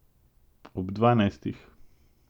Ob dvanajstih.